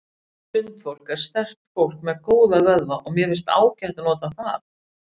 Sundfólk er sterkt fólk með góða vöðva og mér finnst ágætt að nota það.